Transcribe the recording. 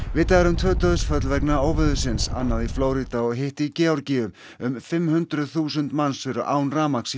vitað er um tvö dauðsföll vegna óveðurins annað í Flórída og hitt í Georgíu um fimm hundruð þúsund manns eru án rafmagns